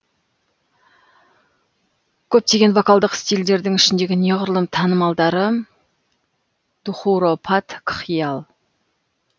көптеген вокалдық стильдердің ішіндегі неғұрлым танымалдары дхурупад кхиял